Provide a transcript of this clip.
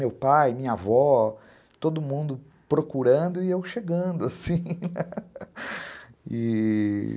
Meu pai, minha avó, todo mundo procurando e eu chegando assim e...